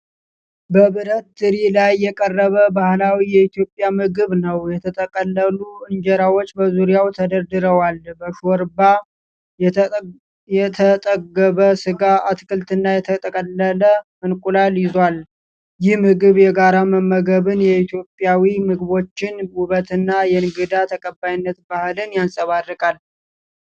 በብረት ትሪ ላይ የቀረበ ባህላዊ የኢትዮጵያ ምግብ ነው። የተጠቀለሉ እንጀራዎች በዙሪያው ተደርድረዋል። በሾርባ የተጠገበ ስጋ፣ አትክልትና የተቀቀለ እንቁላል ይዟል። ይህ ምግብ የጋራ መመገብን፣ የኢትዮጵያዊ ምግቦችን ውበትና የእንግዳ ተቀባይነት ባህልን ያንጸባርቃል።